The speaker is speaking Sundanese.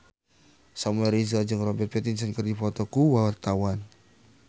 Samuel Rizal jeung Robert Pattinson keur dipoto ku wartawan